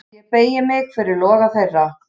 Og ég beygi mig fyrir loga þeirra.